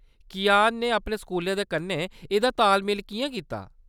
कियान ने अपने स्कूलै दे कन्नै एह्‌दा ताल-मेल किʼयां कीता ?